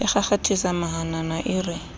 a kgakgathisa mahanana e re